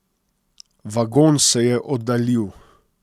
Vagon se je oddaljil.